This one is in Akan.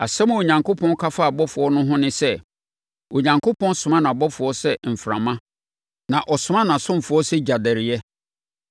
Asɛm a Onyankopɔn ka faa abɔfoɔ no ho ne sɛ, “Onyankopɔn soma nʼabɔfoɔ sɛ mframa, na ɔsoma nʼasomfoɔ sɛ gyadɛreeɛ.”